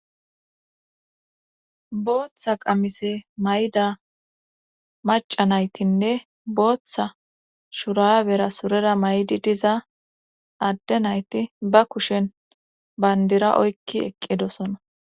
Booththa qamise mayda maca naytinne booththa shurabera surera maydi diza adde nayti ba kushen bandira oykki eqqidosona